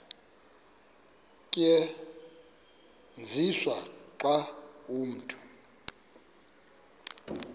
tyenziswa xa umntu